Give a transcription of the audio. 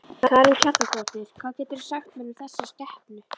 Karen Kjartansdóttir: Hvað geturðu sagt mér um þessa skepnu?